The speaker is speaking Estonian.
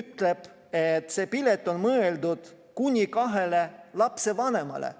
ütleb, et see pilet on mõeldud kuni kahele lapsevanemale.